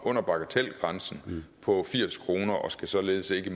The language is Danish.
under bagatelgrænsen på firs kroner og skal således ikke